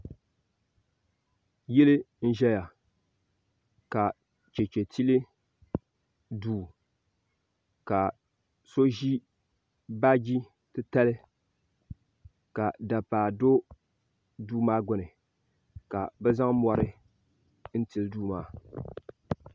Yili n ʒɛya ka cheche tili duu ka so ʒi baagi titali ka dapaa do duu maa gbini ka bɛ zaŋ mɔri n tili duu maa.